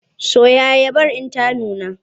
Soya agadar in ta nuna!